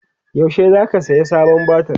yaushe zaka saya sabon batir?